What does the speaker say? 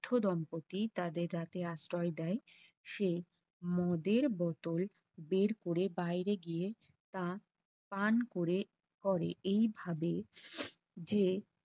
বৃদ্ধ দম্পতি তাদের রাতে আশ্রয় দেয় সে মদের বোতল বের করে বাইরে গিয়ে তা পান করে করে এইভাবে যে